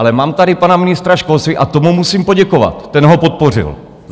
Ale mám tady pana ministra školství a tomu musím poděkovat, ten ho podpořil.